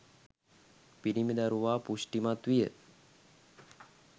පිරිමි දරුවා පුෂ්ටිමත් විය.